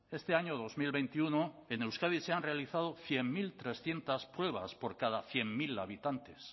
este año dos mil veintiuno en euskadi se han realizado cien mil trescientos pruebas por cada cien mil habitantes